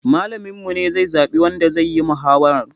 Malamin mu ne zai zaɓi wanda zayi mahawarar